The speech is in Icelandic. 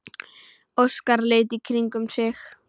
Óskar leit í kringum sig.